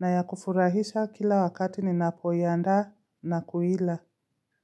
na ya kufurahisha kila wakati ninapoiandaa na kuila.